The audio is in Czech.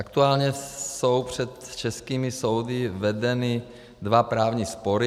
Aktuálně jsou před českými soudy vedeny dva právní spory.